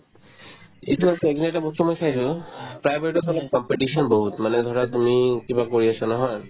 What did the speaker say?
এইটো আৰু চাই কিনে এটা বস্তু মই চাইছো private ত হ'লে competition বহুত মানে ধৰা তুমি কিবা কৰি আছা নহয়